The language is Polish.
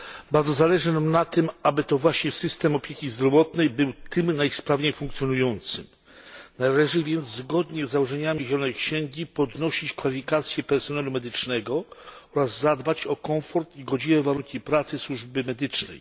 Bardzo zależy nam na tym, aby to właśnie system opieki zdrowotnej był tym najsprawniej funkcjonującym. Należy więc, zgodnie z założeniami Zielonej księgi, podnosić kwalifikacje personelu medycznego oraz zadbać o komfort i godziwe warunki pracy służby medycznej.